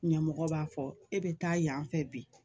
Ɲɛmɔgɔ b'a fɔ e bɛ taa yan fɛ bi